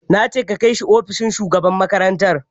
Na ce ka kai shi ofishin shugaban makarantar!